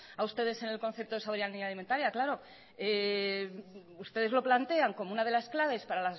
a ustedes en el concepto de soberanía alimentaria claro ustedes lo plantean como una de las claves para